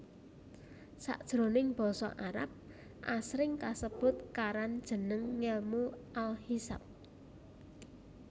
Sakjroning basa Arab asring kasebut karan jeneng ngèlmu al Hisab